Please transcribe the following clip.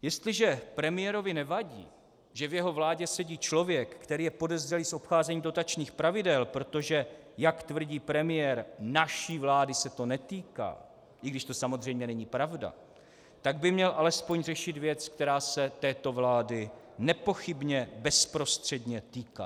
Jestliže premiérovi nevadí, že v jeho vládě sedí člověk, který je podezřelý z obcházení dotačních pravidel, protože jak tvrdí premiér, naší vlády se to netýká, i když to samozřejmě není pravda, tak by měl alespoň řešit věc, která se této vlády nepochybně bezprostředně týká.